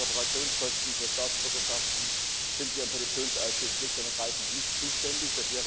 Für Reparationskosten, für Staatsbürgerschaften sind wir im Petitionsausschuss schlicht und ergreifend nicht zuständig.